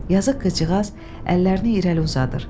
Yazıq qızcığaz əllərini irəli uzadır.